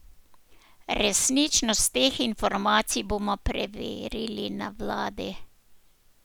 Resničnost teh informacij bomo preverili na vladi.